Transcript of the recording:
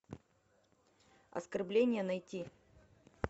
оскорбление найти